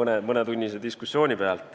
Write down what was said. mõnetunnise diskussiooni põhjal.